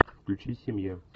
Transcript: включи семья